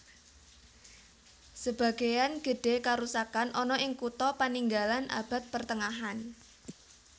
Sebageyan gedhe karusakan ana ing kutha paninggalan Abad Pertengahan